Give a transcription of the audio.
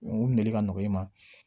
U minɛ ka nɔgɔ i ma